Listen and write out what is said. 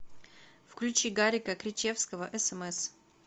включи гарика кричевского смс